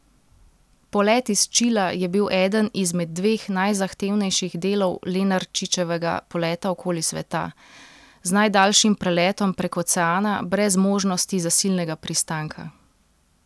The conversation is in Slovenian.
Polet iz Čila je bil eden izmed dveh najzahtevnejših delov Lenarčičevega poleta okoli sveta, z najdaljšim preletom prek oceana brez možnosti zasilnega pristanka.